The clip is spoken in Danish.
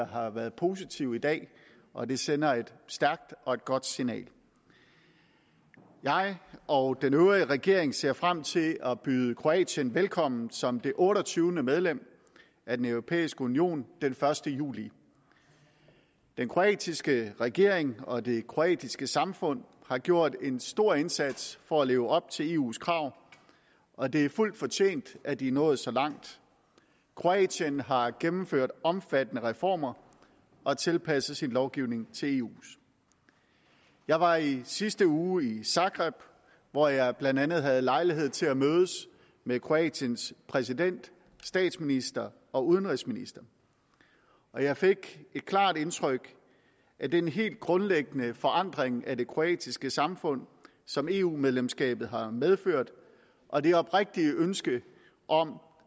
har været positive i dag og det sender et stærkt og et godt signal jeg og den øvrige regering ser frem til at byde kroatien velkommen som det otteogtyvende medlem af den europæiske union den første juli den kroatiske regering og det kroatiske samfund har gjort en stor indsats for at leve op til eus krav og det er fuldt fortjent at de er nået så langt kroatien har gennemført omfattende reformer og tilpasset sin lovgivning til eus jeg var i sidste uge i zagreb hvor jeg blandt andet havde lejlighed til at mødes med kroatiens præsident statsminister og udenrigsminister og jeg fik et klart indtryk af den helt grundlæggende forandring af det kroatiske samfund som eu medlemskabet har medført og det oprigtige ønske om